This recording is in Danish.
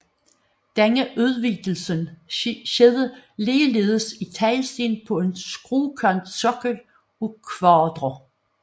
Denne udvidelse skete ligeledes i teglsten på en skråkantsokkel af kvadre